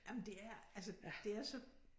Jamen det er altså det er så